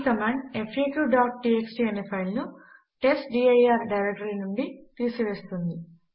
ఈ కమాండ్ faqటీఎక్స్టీ అనే ఫైల్ ను testdir డైరెక్టరీ నుంచి తీసివేస్తుంది